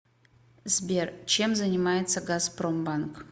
сбер чем занимается газпромбанк